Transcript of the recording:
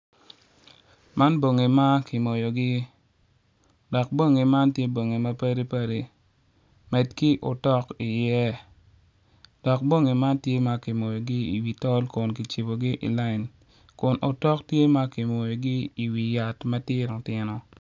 Man bongi ma kimoyogi dok bongi man tye bongi ma padipadi man obuto piny kun puc man kala kome tye macol nicuc kun opero ite tye ka winyo jami. Puc man bene tye ka neno.